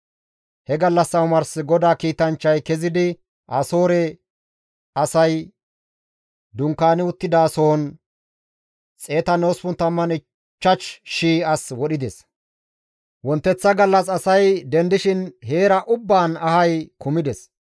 He gallassa omars GODAA kiitanchchay kezidi Asoore asay dunkaani uttidasohon 185,000 as wodhides; wonteththa gallas asay dendishin heera ubbaan ahay kumides.